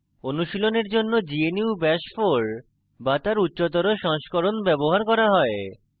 অনুশীলনের জন্য gnu bash 4 bash তার উচ্চতর সংস্করণ ব্যবহার করা হয়